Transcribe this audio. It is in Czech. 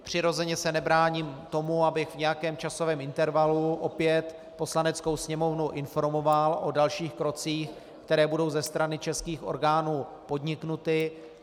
Přirozeně se nebráním tomu, abych v nějakém časovém intervalu opět Poslaneckou sněmovnu informoval o dalších krocích, které budou ze strany českých orgánů podniknuty.